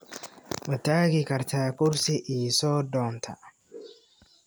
Ma tagi kartaa kursi ii soo doonta?